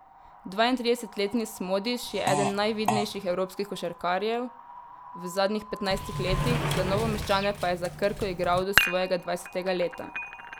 Dvaintridesetletni Smodiš je eden najvidnejših evropskih košarkarjev v zadnjih petnajstih letih, za Novomeščane pa je za Krko igral do svojega dvajsetega leta.